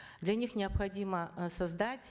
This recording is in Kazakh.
для них необходимо э создать